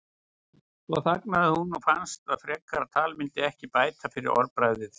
Svo þagnaði hún og fannst að frekara tal myndi ekki bæta fyrir orðbragðið.